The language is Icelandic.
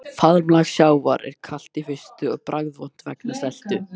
Faðmlag sjávar er kalt í fyrstu og bragðvont vegna seltu.